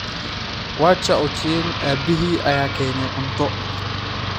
Wacha Ochieng' aabbihii ayaa keenay cunto.